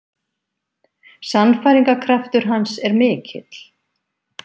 Sannfæringarkraftur hans er mikill.